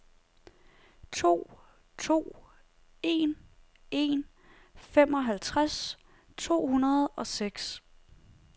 to to en en femoghalvtreds to hundrede og seks